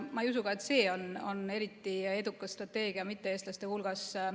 Ma ei usu ka, et see on eriti edukas strateegia mitte-eestlaste hulgas.